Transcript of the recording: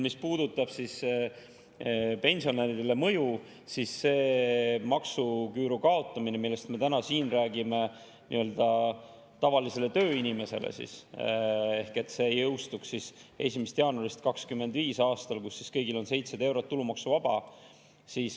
Mis puudutab mõju pensionäridele, siis see maksuküüru kaotamine, millest me täna siin räägime, tavalisele tööinimesele jõustuks 1. jaanuaril 2025. aastal, kui kõigile on 700 eurot tulumaksuvaba.